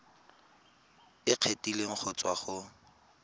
e kgethegileng go tswa go